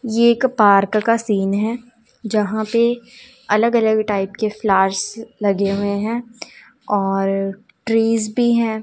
ये एक पार्क का सीन है जहां पे अलग अलग टाइप के फ्लावर्स लगे हुए हैं और ट्रीज भी हैं।